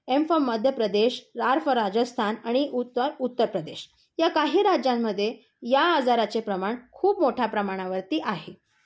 M for Madhya Pradesh, R for Rajasthan आणि U for Uttar Pradesh, या काही राज्यांमध्ये या आजारचे प्रमाण खूप मोठ्या प्रमाणावरती आहे.